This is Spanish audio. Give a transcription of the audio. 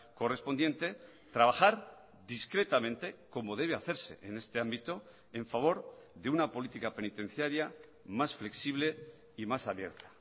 correspondiente trabajar discretamente como debe hacerse en este ámbito en favor de una política penitenciaria más flexible y más abierta